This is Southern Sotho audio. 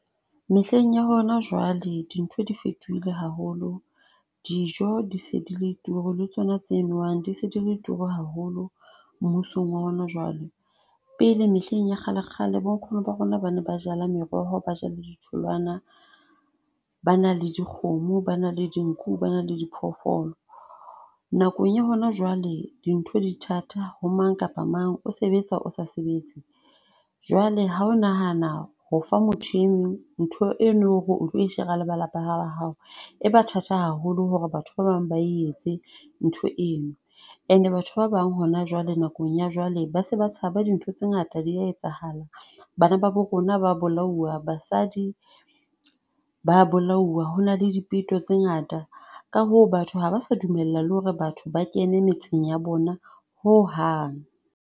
Mehleng ya hona jwale, dintho di fetohile haholo. Dijo di se di le turu le tsona tse nowang di se di le turu haholo mmusong wa hona jwale. Pele mehleng ya kgale-kgale bo nkgono ba rona, ba ne ba jala meroho, ba ja le di tholoana, ba na le dikgomo, ba na le dinku, ba na le di phoofolo. Nakong ya hona jwale, dintho di thata ho mang kapa mang. O sebetsa o sa sebetse. Jwale ha o nahana ho fa motho e mong ntho eo no re o tlo e shera le ba lapa la hao. E ba thata haholo hore batho ba bang ba etse ntho eno. And batho ba bang hona jwale, nakong ya jwale, ba se ba tshaba. Dintho tse ngata dia etsahala. Bana ba bo rona ba bolawa. Basadi ba bolauwa. Ho na le dipeto tse ngata. ka hoo batho haba sa dumella le hore batho ba kene metseng ya bona ho hang.